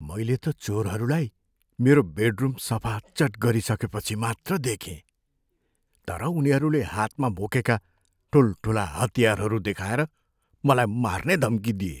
मैले त चोरहरूलाई मेरो बेडरुम सफाचट गरिसकेपछि मात्र देखेँ, तर उनीहरूले हातमा बोकेका ठुल्ठुला हतियारहरू देखाएर मलाई मार्ने धम्की दिए।